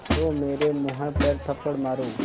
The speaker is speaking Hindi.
तो मेरे मुँह पर थप्पड़ मारो